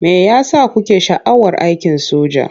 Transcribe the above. Me ya sa kuke sha'awar aikin soja?